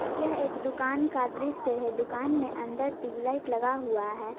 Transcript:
यह एक दुकान का दृश्य है दुकान में अंदर ट्यूबलाइट लगा हुआ है।